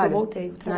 Eu voltei